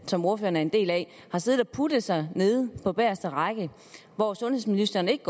som ordføreren er en del af har siddet og puttet sig nede på bageste række og hvor sundhedsministeren ikke